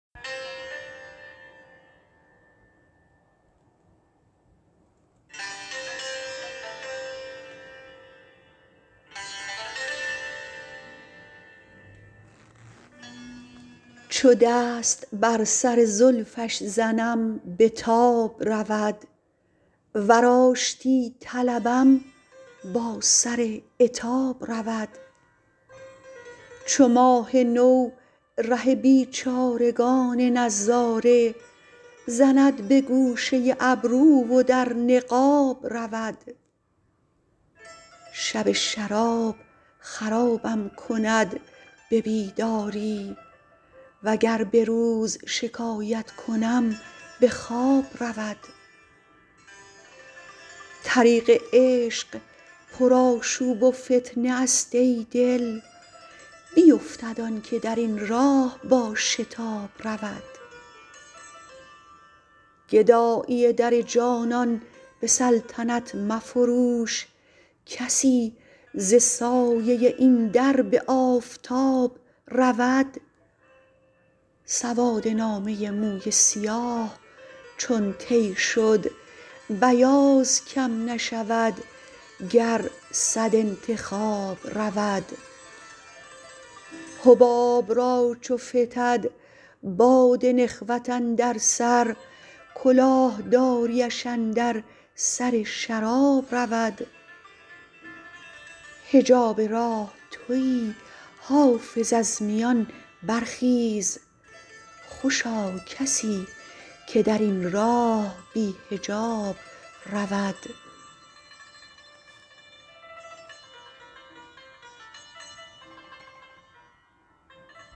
چو دست بر سر زلفش زنم به تاب رود ور آشتی طلبم با سر عتاب رود چو ماه نو ره بیچارگان نظاره زند به گوشه ابرو و در نقاب رود شب شراب خرابم کند به بیداری وگر به روز شکایت کنم به خواب رود طریق عشق پرآشوب و فتنه است ای دل بیفتد آن که در این راه با شتاب رود گدایی در جانان به سلطنت مفروش کسی ز سایه این در به آفتاب رود سواد نامه موی سیاه چون طی شد بیاض کم نشود گر صد انتخاب رود حباب را چو فتد باد نخوت اندر سر کلاه داریش اندر سر شراب رود حجاب راه تویی حافظ از میان برخیز خوشا کسی که در این راه بی حجاب رود